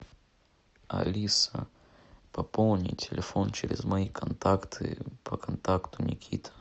алиса пополни телефон через мои контакты по контакту никита